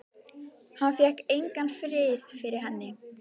Hann fékk engan frið fyrir henni.